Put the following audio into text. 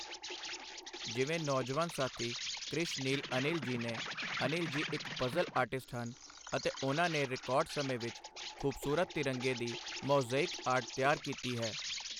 ਜਿਵੇਂ ਨੌਜਵਾਨ ਸਾਥੀ ਕ੍ਰਿਸ਼-ਨੀਲ ਅਨਿਲ ਜੀ ਨੇ, ਅਨਿਲ ਜੀ ਇੱਕ ਪਜ਼ਲ ਆਰਟਿਸਟ ਹਨ ਅਤੇ ਉਨ੍ਹਾਂ ਨੇ ਰਿਕਾਰਡ ਸਮੇਂ ਵਿੱਚ ਖ਼ੂਬਸੂਰਤ ਤਿਰੰਗੇ ਦੀ ਮਅਉ-ਜ਼ੇਇਕ ਆਰਟ ਤਿਆਰ ਕੀਤੀ ਹੈ।